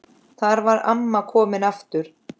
Þar var amma komin aftur.